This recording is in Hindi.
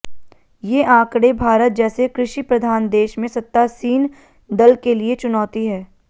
ये आंकड़ें भारत जैसे कृषि प्रधान देश में सत्तासीन दल के लिए चुनौती है